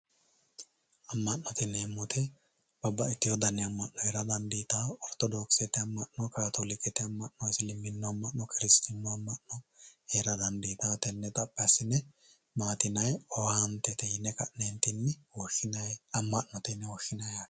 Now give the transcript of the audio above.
Amanote yinemo woyite babaxitewo amano jera danditawo ortodokisete amano katolikete amano isiliminu amano kiristinu amano hera danditawo tene xapi asine matti yinayi owantete yine woshinayi amanote yine woshinayi